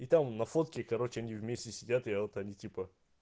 и там на фотке короче они вместе сидят я вот они типа